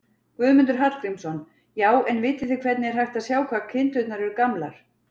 Guðmundur Hallgrímsson: Já, en vitið þið hvernig er hægt að sjá hvað kindurnar eru gamlar?